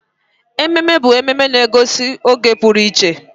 Ememe bụ mmemme na-egosi oge pụrụ iche.